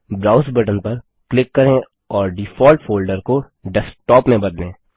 browse button पर click करें और डिफॉल्ट फोल्डर को डेस्कटॉप में बदलें